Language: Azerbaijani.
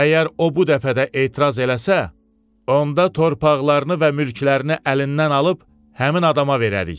Əgər o bu dəfə də etiraz eləsə, onda torpaqlarını və mülklərini əlindən alıb həmin adama verərik.